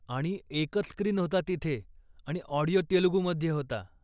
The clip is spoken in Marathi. आणि एकंच स्क्रीन होता तिथे आणि ऑडिओ तेलगुमध्ये होता.